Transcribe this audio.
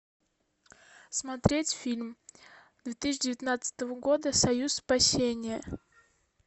смотреть фильм две тысячи девятнадцатого года союз спасения